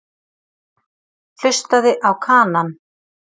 Hlustaði á Kanann.